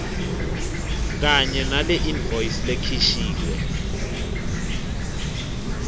kanye naleinvoice lekhishiwe